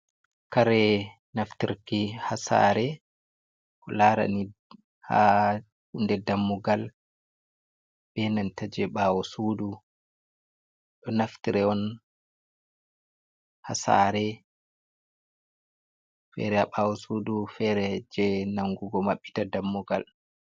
Kare naftirki ha saare. Ko larani ha hunde dammugal, be nanta jei ɓaawo sudu. Ɗo naftire on ha saare, fere ha ɓaawo sudu, fere jei nangugo maɓɓita dammugal.